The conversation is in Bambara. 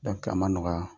a ma nɔgɔya